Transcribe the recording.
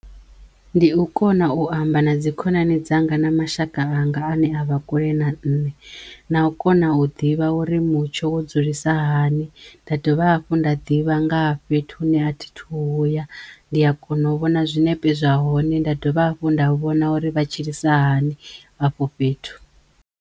Ndi u kona u amba na dzi khonani dzanga na mashaka anga ane a vha kule na nṋe na u kona u ḓivha uri mutsho wo dzulisa hani da dovha hafhu nda ḓivha nga ha fhethu hune a thi thu huya ndi a kona u vhona zwinepe zwa hone nda dovha hafhu nda vhona uri vha tshilisa hani afho fhethu.